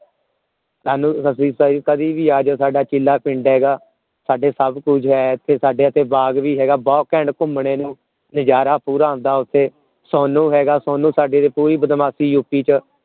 ਸਾਨੂ ਸਾਡੇ ਕਦੇ ਵੀ ਅਜੇ ਸਾਡਾ ਚੀਲਾ ਪਿੰਡ ਹੈਗਾ ਸਾਡੇ ਸਭ ਕੁਜ ਹੈ ਇਥੇ ਸਾਡੇ ਇਥੇ ਬਾਗ ਵੀ ਹੈਗਾ ਬਹੁਤ ਘੈਂਟ ਬਾਗ ਘੁੱਮਣੇ ਨੂੰ ਨਜਾਰਾ ਪੂਰਾ ਆਂਦਾ ਓਥੇ ਸੋਨੂ ਹੈਗਾ ਸੋਨੂ ਸਾਡੇ ਦੀ ਪੂਰੀ ਬਦਮਾਸ਼ੀ U. P. ਚ